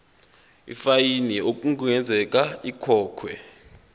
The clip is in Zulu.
ifayini okungenzeka ikhokhwe